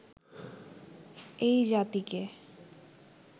এই জাতিকে